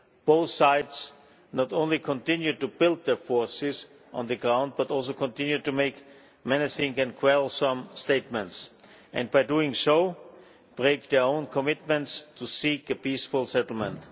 Both sides not only continue to build their forces on the ground but also continue to make menacing and quarrelsome statements, and by doing so break their own commitments to seek a peaceful settlement.